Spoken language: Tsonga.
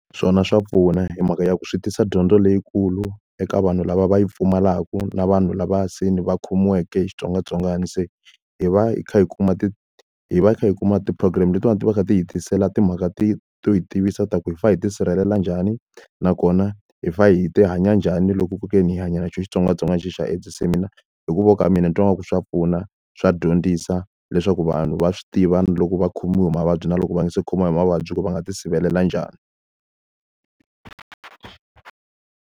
Swona swa pfuna hi mhaka ya ku swi tisa dyondzo leyikulu eka vanhu lava va yi pfumalaka, na vanhu lavaya se ni va khomiweke hi xitsongwatsongwana. Se hi va hi kha hi kuma hi va hi kha hi kuma ti-program letiwani ti kha ti hi tisela timhaka to hi tivisa leswaku hi fanele hi ti sirhelela njhani, nakona hi fanele hi hanya njhani loko ku ve ni hi hanya na xona xitsongwatsongwana xexi xa AIDS. Se mina hi ku vona ka mina ni twa ingaku swa pfuna, swa dyondzisa leswaku vanhu va swi tiva na loko va khomiwe hi mavabyi na loko va nga se khomiwa hi mavabyi, ku ri va nga ti sirhelela njhani.